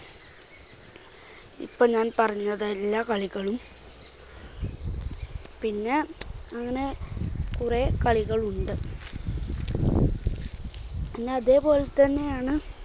ഇപ്പോൾ ഞാൻ പറഞ്ഞത് എല്ലാ കളികളും പിന്നെ അങ്ങനെ കുറേ കളികൾ ഉണ്ട്. പിന്നെ അതേപോലെ തന്നെയാണ്